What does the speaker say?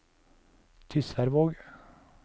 Tysværvåg